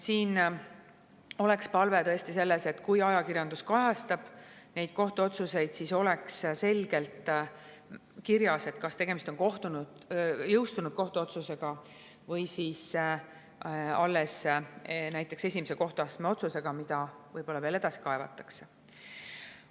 Oleks tõesti palve, et kui ajakirjandus kajastab kohtuotsuseid, siis oleks selgelt kirjas, kas tegemist on jõustunud kohtuotsusega või alles näiteks esimese kohtuastme otsusega, mida võib-olla veel edasi kaevatakse.